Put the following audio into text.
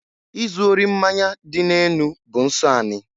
Izụ ori mmanya dị n'enu bụ nsọ anị.